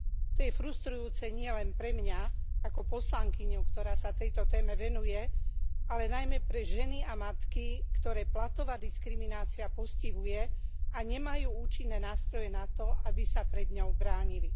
To je frustrujúce nielen pre mňa ako poslankyňu, ktorá sa tejto téme venuje, ale najmä pre ženy a matky, ktoré platová diskriminácia postihuje a nemajú účinné nástroje na to, aby sa pred ňou bránili.